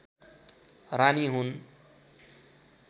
रानी हुन्